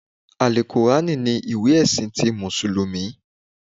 Àlùkùránà ni ìwé ẹ̀sìn ti mùsùlùmí